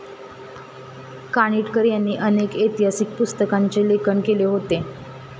कानिटकर यांनी अनेक ऐतिहासिक पुस्तकांचे लेखन केले होते.